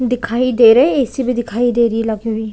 दिखाई दे रही ए_सी भी दिखाई दे रही लगी हुई ।